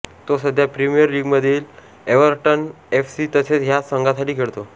तो सध्या प्रीमियर लीगमधील एव्हर्टन एफ सी तसेच ह्या संघांसाठी खेळतो